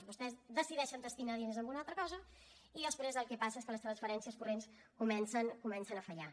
vostès decideixen destinar diners a una altra cosa i després el que passa és que les transferències corrents comencen a fallar